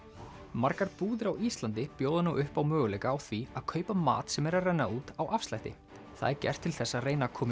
margar búðir á Íslandi bjóða nú upp á möguleika á því að kaupa mat sem er að renna út á afslætti það er gert til þess að reyna koma